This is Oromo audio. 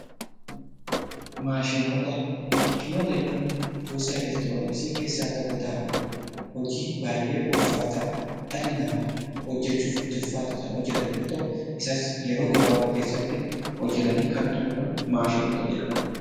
Maashinoota , maashinoota jechuun gosa elektrooniksii keessaa tokko ta'anii hojii baayee ulfaataa dhalli namaa hojjechuuf itti ulfaatu kan hojjetan yoo ta'u isas yeroo gabaabaa keessatti hojjetanii kan xumuran maashinoota jedhamu.